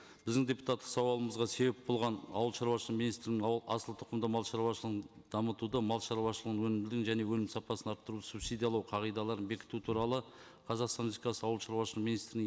біздің депутаттық сауалымызға себеп болған ауылшаруашылығы министрінің асылтұқымды малшаруашылығын дамытуды малшаруашылығының өнімділігін және өнім сапасын арттыру субсидиялау қағидаларын бекіту туралы қазақстан ауылшаруашылығы министрінің